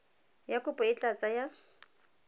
ya kopo e tla tsaya